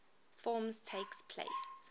forms takes place